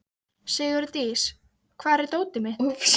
Leiðin upp í bæ lá framhjá Hernum.